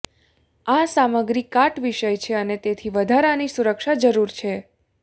આ સામગ્રી કાટ વિષય છે અને તેથી વધારાની સુરક્ષા જરૂર છે